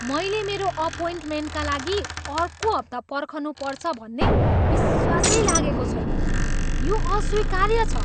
मैले मेरो अपोइन्टमेन्टका लागि अर्को हप्ता पर्खनु पर्छ भन्ने विश्वासै लागेको छैन। यो अस्वीकार्य छ।